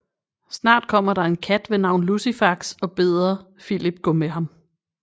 Snart kommer der en kat ved navn Lucifax og beder Filip gå med ham